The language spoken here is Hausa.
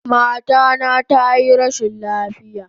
Mata na tayi rashin lafiya